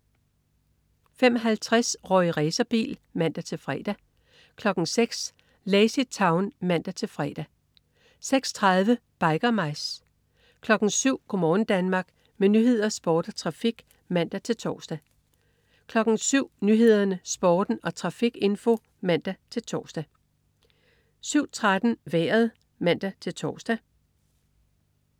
05.50 Rorri Racerbil (man-fre) 06.00 Lazy Town (man-fre) 06.30 Biker Mice 07.00 Go' morgen Danmark. Med nyheder, sport, trafik og vejr (man-tors) 07.00 Nyhederne, Sporten og trafikinfo (man-tors) 07.13 Vejret (man-tors)